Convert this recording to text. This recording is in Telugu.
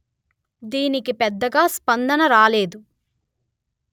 దీనికి పెద్దగా స్పందన రాలేదు